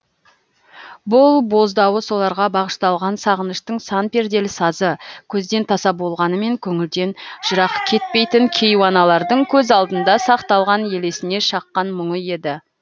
бұл боздауы соларға бағышталған сағыныштың сан перделі сазы көзден таса болғанымен көңілден жырақ кетпейтін кейуаналардың көз алдында сақталған елесіне шаққан мұңы еді